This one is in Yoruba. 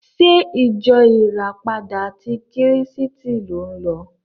Ṣé ìjọ ìràpadà ti Kírísítì ni ò ń lọ?